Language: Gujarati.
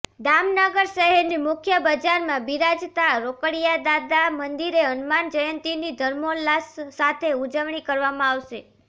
દામનગર શહેરની મુખ્ય બજારમાં બીરાજતા રોકડીયાદાદા મંદિરે હનુમાન જયંતીની ધર્મોલ્લાસ સાથે ઉજવણી કરવામાં આવશે